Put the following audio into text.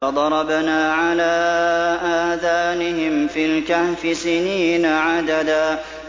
فَضَرَبْنَا عَلَىٰ آذَانِهِمْ فِي الْكَهْفِ سِنِينَ عَدَدًا